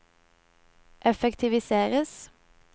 effektiviseres